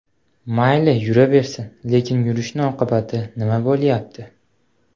Mayli, yuraversin, lekin yurishni oqibati nima bo‘lyapti.